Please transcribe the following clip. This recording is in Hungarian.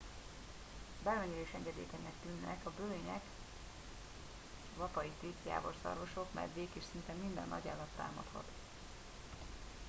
bármennyire is engedékenyeknek tűnnek a bölények vapaitik jávorszarvasok medvék és szinte minden nagyállat támadhat